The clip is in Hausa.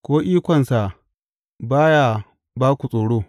Ko ikonsa ba ya ba ku tsoro?